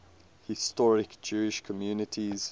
historic jewish communities